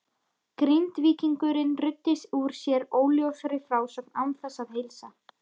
Grindvíkingurinn ruddi úr sér óljósri frásögn án þess að heilsa.